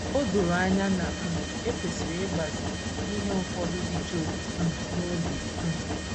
O doro anya na um e kwesịrị ịgbazi ihe ụfọdụ dị Job um n’obi um.